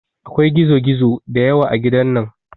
Akwai gizo gizo da yawa a gidan nan